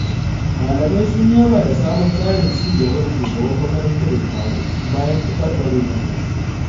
Malamai sun yaba da sabon tsarin cigaba da shugaban makarantar ya kawo, bayan taɓarɓarewarta.